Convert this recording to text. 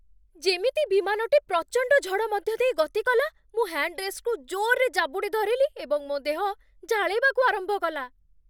ଯେମିତି ବିମାନଟି ପ୍ରଚଣ୍ଡ ଝଡ଼ ମଧ୍ୟ ଦେଇ ଗତି କଲା, ମୁଁ ହ୍ୟାଣ୍ଡ ରେଷ୍ଟକୁ ଜୋର୍‌ରେ ଜାବୁଡ଼ି ଧରିଲି ଏବଂ ମୋ ଦେହ ଝାଳେଇବାକୁ ଆରମ୍ଭ କଲା।